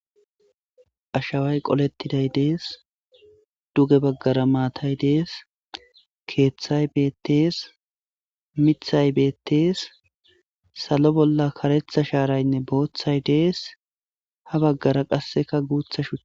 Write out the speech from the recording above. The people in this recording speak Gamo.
ashaway qolettiday dees duge baggara maatay dees keeththay beettees mithay beettees salo bolla karetha shaaraynne booththay dees ha baggara qasseka guutha shua